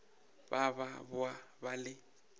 ba ba boa ba le